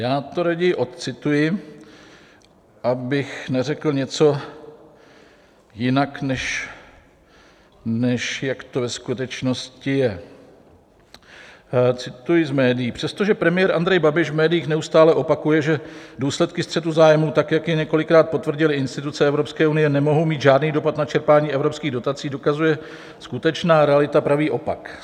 Já to raději odcituji, abych neřekl něco jinak, než jak to ve skutečnosti je - cituji z médií: "Přestože premiér Andrej Babiš v médiích neustále opakuje, že důsledky střetu zájmů tak, jak je několikrát potvrdily instituce EU, nemohou mít žádný dopad na čerpání evropských dotací, dokazuje skutečná realita pravý opak.